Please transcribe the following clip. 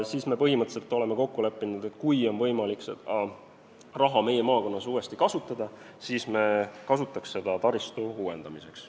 Me oleme põhimõtteliselt kokku leppinud, et kui on võimalik seda raha meie maakonnas uuesti kasutada, siis me kasutaksime seda taristu uuendamiseks.